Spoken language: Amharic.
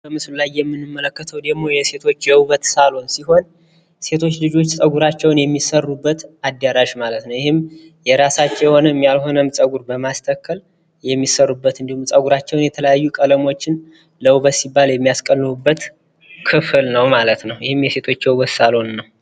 በምስሉ ላይ የምንመለከተው ደሞ የሴቶች የዉበት ሳሎን ሲሆን ፤ ሴቶች ልጆች ጸጉራቸዉን የሚሰሩበት አዳራሽ ማለት ነው ፤ ይህም የራሳቸው የሆነም ያልሆነም ጸጉር በማስተከል የሚሰሩበት እንዲሁም ጸጉራቸዉን የተለያዩ ቀለሞችን ለዉበት ሲባል የሚያስቀልሙበት ክፍል ነው ማለት ነው ፤ ይህም የሴቶች የዉበት ሳሎን ነዉ።